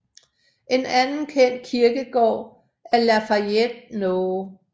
En anden kendt kirkegård er Lafayette No